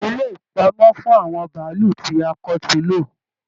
Ilé ipamọ fún àwọn bàálù ti a kò tíì lo.